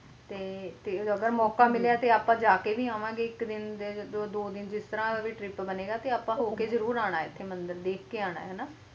ਤੇ ਅਗਰ ਮੌਕਾ ਮਿਲੀਆਂ ਤੇ ਆਪਾ ਜਾ ਕ ਵੀ ਆਵਾਂ ਗੇ ਇਕ ਦਿਨ ਦੋ ਦਿਨ ਜੋ ਵੀ ਤ੍ਰਿਪ ਬੰਨਿਆ ਤੇ ਆਪ ਹੋ ਕ ਜ਼ਰੂਰ ਵੇਖ ਕ ਜ਼ਰੂਰ ਅਨਾ ਹੈ ਮੰਦਿਰ ਇਕ ਦਿਨ